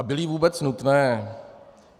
A byly vůbec nutné?